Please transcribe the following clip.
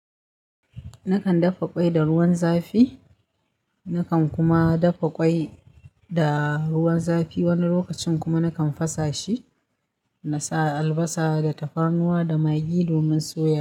Nakan dafa ƙwai da ruwan zafi, nakan kuma dafa ƙwai da ruwan zafi wani lokacin kuma nakan fasa shi, na sa albasa da tafarnuwa da magi domin soya.